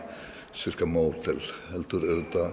sirka módel heldur